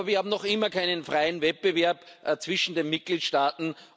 Aber wir haben noch immer keinen freien Wettbewerb zwischen den Mitgliedstaaten.